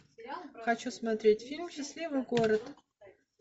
хочу смотреть фильм счастливый город